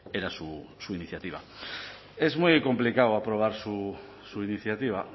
era su iniciativa es muy complicado aprobar su iniciativa